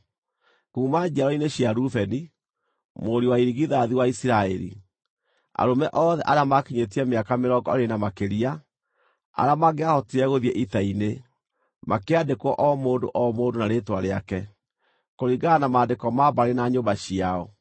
Kuuma njiaro-inĩ cia Rubeni, mũriũ wa irigithathi wa Isiraeli: Arũme othe arĩa maakinyĩtie mĩaka mĩrongo ĩĩrĩ na makĩria, arĩa mangĩahotire gũthiĩ ita-inĩ, makĩandĩkwo o mũndũ o mũndũ na rĩĩtwa rĩake, kũringana na maandĩko ma mbarĩ na nyũmba ciao.